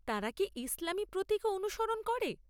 তারা কি ইসলামী প্রতীকও অনুসরণ করে?